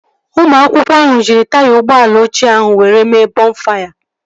Ụmụ akwụkwọ ahụ jiri taya ụgbọala ochie ahụ were mee bọnfaya